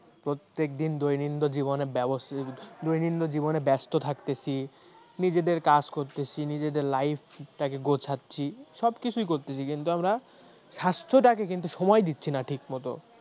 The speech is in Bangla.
প্রত্যেক দিন দৈনন্দদিন জীবনে ব্যবস্থা দৈনন্দিন জীবনে ব্যস্ত থাকতিছে নিজেদের কাজ করছি নিজেদের life টাকে গোছাচ্ছি সব কিছু করতেছি কিন্তু আমরা স্বাস্থ্যটাকে কিন্তু সময়ে দিচ্ছি না ঠিক মতন